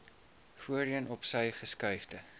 voorheen opsy geskuifde